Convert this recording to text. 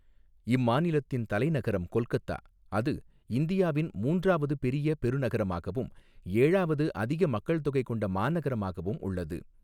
இம்மாநிலத்தின் தலைநகரம் கொல்கத்தா, அது இந்தியாவின் மூன்றாவது பெரிய பெருநகரமாகவும், ஏழாவது அதிக மக்கள்தொகை கொண்ட மாநகரமாகவும் உள்ளது.